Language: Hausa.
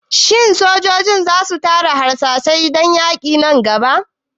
Shin sojojin za su tara harsashai dan yaƙin gaba?